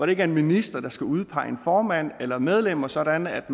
ikke en minister der skal udpege en formand eller medlemmerne sådan at